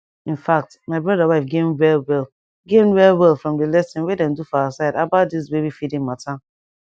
in fact my brother wife gain well well gain well well from the lesson wey dem do for her side about this baby feeding matter